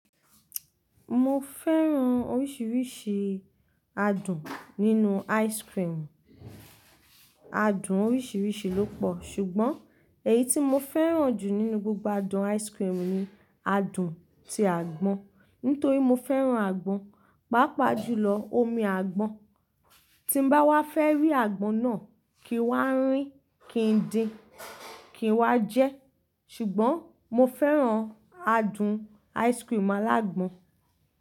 Mo fẹ́ran oríṣiríṣi adùn nínú ice cream. Adùn oríṣiríṣi ló pọ̀, ṣùgbọ́n èyí tí mo fẹ́ran jù nínú gbogbo adùn ice cream ni adùn tí àgbọn. Nítorí mo fẹ́ran àgbọn, pàápàá jùlọ omi àgbọn. Tí n bá wá fẹ́ rí àgbọn náà kì í wá rín, kì í din, kì í wá jẹ́. Ṣùgbọ́n mo fẹ́ran adùn ice cream alágbon.